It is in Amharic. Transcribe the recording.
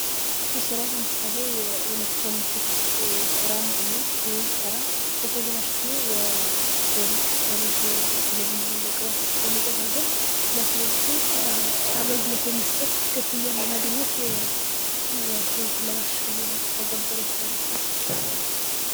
ይህ ስራ ለምሳሌ የኤሌክትሮኒክስ ስራን ብንወስድ ይህ ስራ የተበላሹ ስልክ፣ ሬዲዮ፣ የቴሌቪዥን እቃዎች በመጠጋገን ለሰዎቹ አገልግሎት የመስጠት ክፍያም የማግኘት ኑሮን ህይወትን ለማሸነፍ የሚተገበር የስራ መስክ ነዉ።